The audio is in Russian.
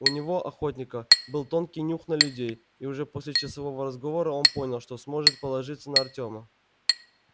у него охотника был тонкий нюх на людей и уже после часового разговора он понял что сможет положиться на артёма